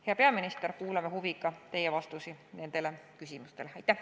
Hea peaminister, kuulame huviga teie vastuseid nendele küsimustele!